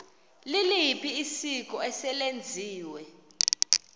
liliphi isiko eselenziwe